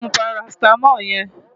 Ṣé o ti mú parasítámọ̀ yẹn?